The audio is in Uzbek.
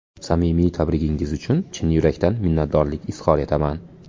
Samimiy tabrigingiz uchun chin yurakdan minnatdorlik izhor etaman.